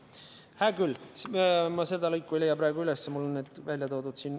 Hää küll, ma seda lõiku ei leia praegu üles, aga mul on need välja toodud.